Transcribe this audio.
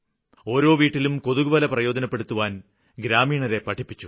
ഓരോ വീട്ടിലും കൊതുക്വല പ്രയോജനപ്പെടുത്താന് ഗ്രാമീണരെ പഠിപ്പിച്ചു